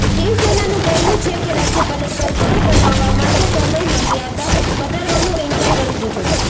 શિવસેનાનું કહેવું છે કે રાજ્યપાલે સરકાર બનાવવા માટે સમયમર્યાદા વધારવાનો ઇનકાર કરી દીધો છે